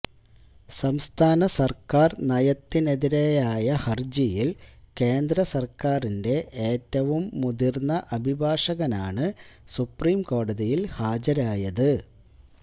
സംസ്ഥാന സര്ക്കാര് നയത്തിനെതിരായ ഹരജിയില് കേന്ദ്ര സര്ക്കാറിന്റെ ഏറ്റവും മുതിര്ന്ന അഭിഭാഷകനാണ് സുപ്രീം കോടതിയില് ഹാജരായത്